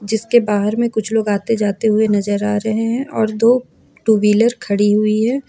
जिसके बाहर में कुछ लोग आते जाते हुए नजर आ रहे हैं और दो टू व्हीलर खड़ी हुई है।